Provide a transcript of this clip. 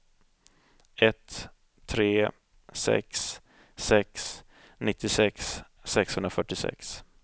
ett tre sex sex nittiosex sexhundrafyrtiosex